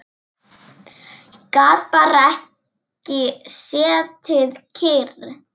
Gat bara ekki setið kyrr.